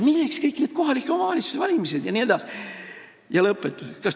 Milleks kõik need kohalike omavalitsuste valimised jne?